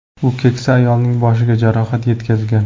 U keksa ayolning boshiga jarohat yetkazgan.